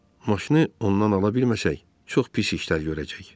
Maşını ondan ala bilməsək, çox pis işlər görəcək.